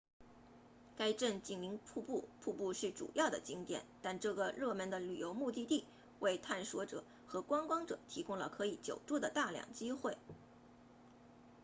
该镇紧邻瀑布瀑布是主要的景点但这个热门的旅游目的地为探险者和观光者提供了可以久住的大量机会